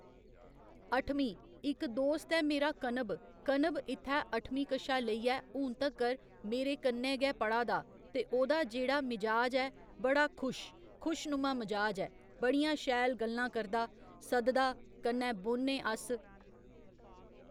अठमीं इक दोस्त ऐ मेरा कनब कनब इत्थै अट्ठमीं कशा लैइयै हून तगर मेरे कन्ने गै पढ़ा दा ते ओह्दा जेह्ड़ा मिजाज ऐ बड़ा खुश खुश नुमा मिजाज ऐ बड़ियां शैल गल्लां करदा सद्ददा कन्नै बौह्न्ने अस